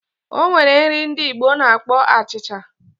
O nwere nri ndi Igbo na-akpọ achịcha.